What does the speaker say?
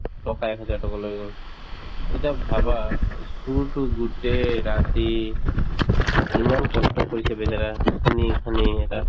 টকা এক হাজাৰ টকা লৈ গল উম এতিয়া ভাবা চুৰটো গোটেই ৰাতি ইমান কষ্ট কৰিছে বেচেৰা খান্দি খান্দি